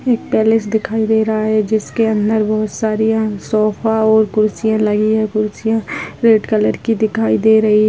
एक पैलेस दिखाई दे रहा हैं जिसके अन्दर बोहोत सारी अन सोफा और कुर्सियां लगी हैं। कुर्सियाँ रेड कलर की दिखाई दे रही --